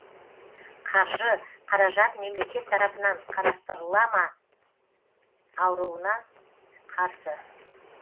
қаржы қаражат мемлекет тарапынан қарастырыла ма ауруына қарсы